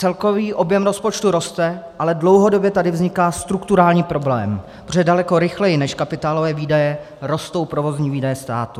Celkový objem rozpočtu roste, ale dlouhodobě tady vzniká strukturální problém, protože daleko rychleji než kapitálové výdaje rostou provozní výdaje státu.